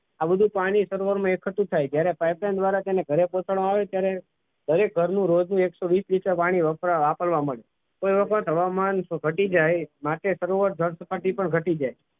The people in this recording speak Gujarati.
આ બધું પાણી એકત્રિત થાય છે ત્યારે એને pipeline દ્વારા તેને ઘરે પહોંચાડવામાં આવે ત્યારે દરેક ઘરનું રોજનું એકસો વીસ લિટર પાણી વાપરવા મળી. તો એવું કોઈ થવામાં પતી જાય માટે સરોવર જળ સપાટી પર ઘટી જાય.